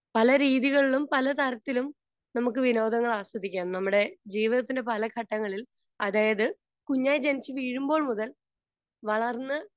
Speaker 2 പല രീതികളിലും പല തരത്തിലും നമുക്ക് വിനോദങ്ങൾ ആസ്വദിക്കാം. നമ്മുടെ ജീവിതത്തിന്റെ പല ഘട്ടങ്ങളിൽ അതായത് കുഞ്ഞായി ജനിച്ച് വീഴുമ്പോൾ മുതൽ വളർന്ന്